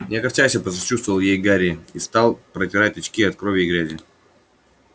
не огорчайся посочувствовал ей гарри и стал протирать очки от крови и грязи